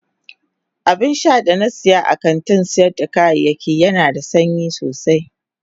Abinsha da na siya a kantin sayar da kayayyaki Yana da sanyi sosai.